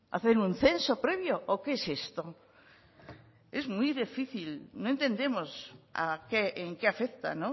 hacen un censo previo o qué es esto es muy difícil no entendemos en qué afecta